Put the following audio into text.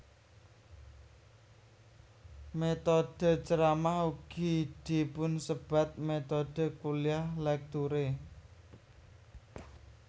Métodhe ceramah ugi dipunsebat métodhe kuliah lecture